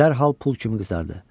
Dərhal pul kimi qızardı.